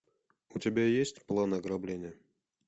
у тебя есть план ограбления